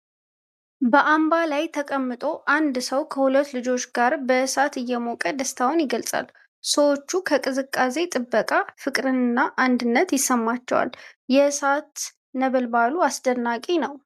በአምባ ላይ ተቀምጦ አንድ ሰው ከሁለት ልጆች ጋር በእሳት እየሞቀ ደስታውን ይገልጻል። ሰዎቹ ከቅዝቃዜ ጥበቃ ፍቅርና አንድነት ይሰማቸዋል። የእሳት ነበልባሉ አስደናቂ ነው።